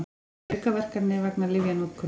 Aukaverkanir vegna lyfjanotkunar.